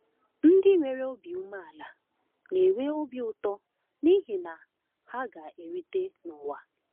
Ndị nwere obi umeala na-enwe obi ụtọ n’ihi na “ha ga-erite n’ụwa.”